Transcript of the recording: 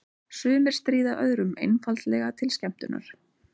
Sumir stríða öðrum einfaldlega til skemmtunar.